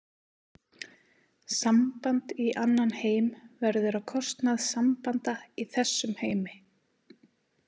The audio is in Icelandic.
Samband í annan heim verður á kostnað sambanda í þessum heimi.